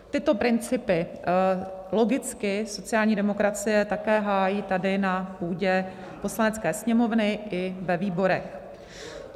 Tyto principy logicky sociální demokracie také hájí tady na půdě Poslanecké sněmovny i ve výborech.